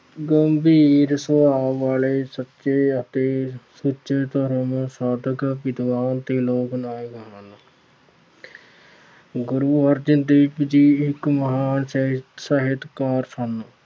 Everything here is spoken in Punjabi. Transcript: ਗੰਭੀਰ ਸੁਭਾਅ ਵਾਲੇ ਸੱਚੇ ਅਤੇ ਸੁੱਚੇ ਧਰਮ ਸਾਧਕ ਵਿਦਵਾਨ ਤੇ ਲੋਕ ਨਾਇਕ ਸਨ। ਗੁੁਰੂ ਅਰਜਨ ਦੇਵ ਜੀ ਇੱਕ ਮਹਾਨ ਸਾਹਿਤ ਅਹ ਸਾਹਿਤਕਾਰ ਸਨ।